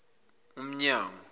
umnyango